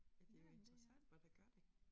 Ja det jo interessant hvad der gør det